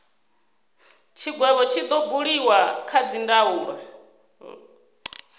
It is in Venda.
tshigwevho tshi do buliwa kha dzindaulo